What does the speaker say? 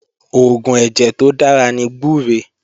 Oògùn ẹ̀jẹ̀ tó dára ní gbúre